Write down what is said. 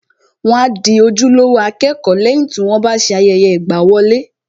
Wọ́n a di ojúlówó akẹ́kọ̀ọ́ lẹ́yìn tí wọ́n bá ṣe ayẹyẹ ìgbàwọlé